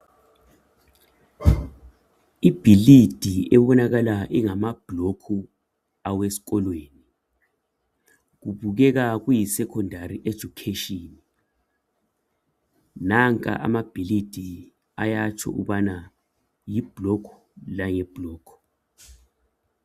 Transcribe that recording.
Ibhilidi ebonakala ingamabhlokhu aweskolweni. Kubukeka kuyi sekhondari ejukheshini. Nanka amabhilidi ayatsho ukubana yiblokhu, layiblokhu.